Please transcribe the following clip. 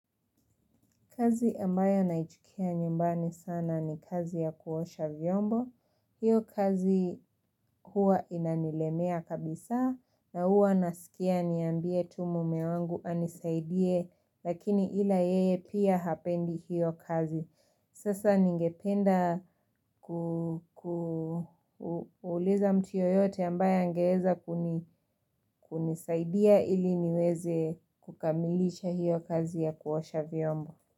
Kazi ambayo naichukia nyumbani sana ni kazi ya kuosha vyombo. Hiyo kazi huwa inanilemea kabisa na huwa nasikia niambie tu mume wangu anisaidie lakini ila yeye pia hapendi hiyo kazi. Sasa ningependa kuuliza mtu yeyote ambaye angeweza kunisaidia ili niweze kukamilisha hiyo kazi ya kuosha vyombo.